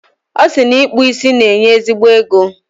Ọ sị na ịkpụ isi na-enye ezigbo ego.